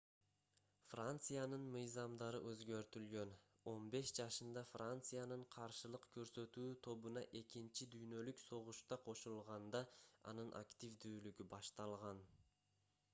франциянын мыйзамдары өзгөртүлгөн 15 жашында франциянын каршылык көрсөтүү тобуна экинчи дүйнөлүк согушта кошулганда анын активдүүлүгү башталган